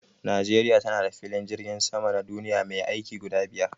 Najeriya tana da filin jirgin sama na duniya mai aiki guda biyar.